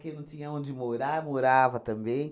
Quem não tinha onde morar, morava também.